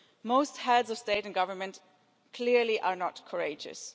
Most heads of state and government clearly are not courageous.